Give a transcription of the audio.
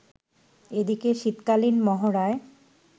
এদিকে শীতকালীন মহড়ায়